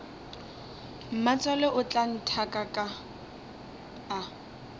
mmatswale o tla nthaka a